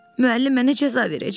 Müəllim mənə cəza verəcək.